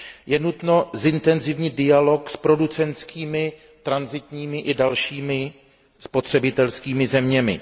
Je nutno zintenzívnit dialog s producentskými, tranzitními i dalšími spotřebitelskými zeměmi.